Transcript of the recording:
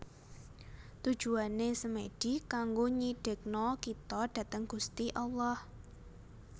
Tujuane Semedi kanggo nyidekno kito dhateng Gusti Allah